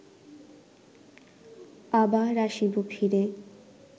আবার আসিব ফিরে